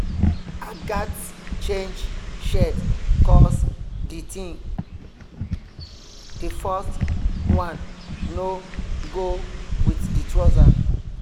i gats change shirt cos the first one no go with the trouser.